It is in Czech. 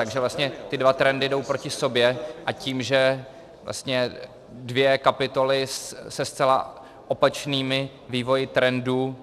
Takže vlastně ty dva trendy jdou proti sobě, a tím, že vlastně dvě kapitoly se zcela opačnými vývoji trendů